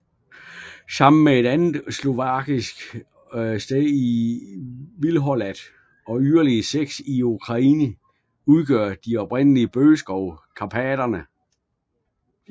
Sammen med et andet slovakisk sted i Vihorlat og yderligere seks i Ukraine udgør de Oprindelige Bøgeskove i Karpaterne